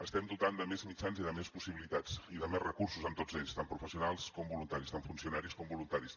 estem dotant de més mitjans i de més possibilitats i de més recursos a tots ells tant professionals com voluntaris tant funcionaris com voluntaris